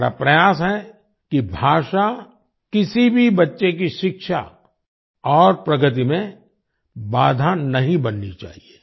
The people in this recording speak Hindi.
हमारा प्रयास है कि भाषा किसी भी बच्चे की शिक्षा और प्रगति में बाधा नहीं बननी चाहिए